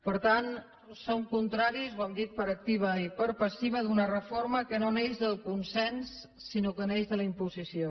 per tant som contraris ho hem dit per activa i per passiva a una reforma que no neix del consens sinó que neix de la imposició